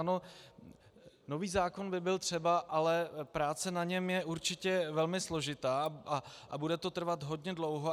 Ano, nový zákon by byl třeba, ale práce na něm je určitě velmi složitá a bude to trvat hodně dlouho.